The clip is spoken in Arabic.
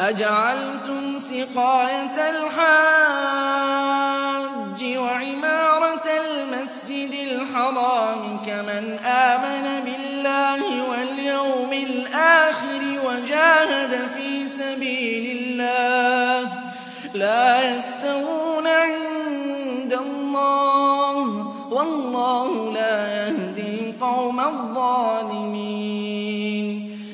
أَجَعَلْتُمْ سِقَايَةَ الْحَاجِّ وَعِمَارَةَ الْمَسْجِدِ الْحَرَامِ كَمَنْ آمَنَ بِاللَّهِ وَالْيَوْمِ الْآخِرِ وَجَاهَدَ فِي سَبِيلِ اللَّهِ ۚ لَا يَسْتَوُونَ عِندَ اللَّهِ ۗ وَاللَّهُ لَا يَهْدِي الْقَوْمَ الظَّالِمِينَ